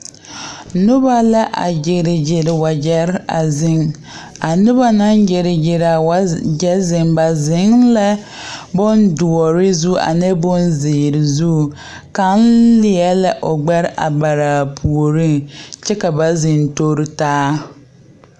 Noba la a gyere gyere wagyɛre a zeŋ a noba naŋ gyere gyere wa gyɛ ba zeŋ la bondoɔre zu ane bonzeere zu kaŋ leɛ la o gbɛre a bare a puoriŋ kyɛ ka ba zeŋ tori taa.